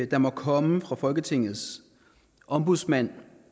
der måtte komme fra folketingets ombudsmand